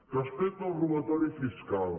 respecte al robatori fiscal